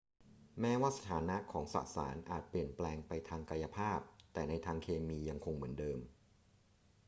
แม้ว่าสถานะของสสารอาจเปลี่ยนแปลงไปทางกายภาพแต่ในทางเคมียังคงเหมือนเดิม